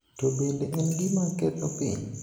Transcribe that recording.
to bende en gima ketho piny,